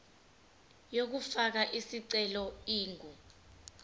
yokufaka isicelo ingu